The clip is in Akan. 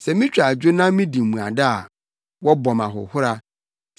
Sɛ mitwa adwo na midi mmuada a wɔbɔ me ahohora;